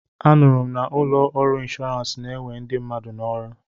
Anụrụ m na ụlọ ọrụ inshọransị na-ewe ndị mmadụ n'ọrụ.